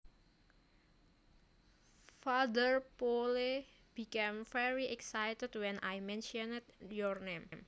Father Poole became very excited when I mentioned your name